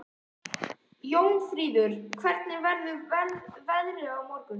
Jónfríður, hvernig verður veðrið á morgun?